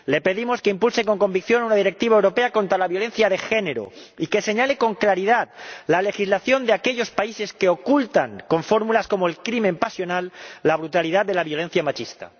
Le pedimos que impulse con convicción una directiva europea contra la violencia de género y que señale con claridad la legislación de aquellos países que ocultan, con fórmulas como el crimen pasional, la brutalidad de la violencia machista.